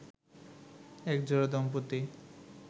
একজোড়া দম্পতি